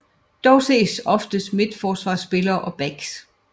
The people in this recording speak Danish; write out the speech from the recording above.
Dog ses oftest midterforsvarsspillere og backs